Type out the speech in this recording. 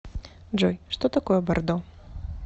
джой что такое бордо